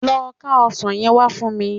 Lọ ká ọsàn yẹn wá fún mi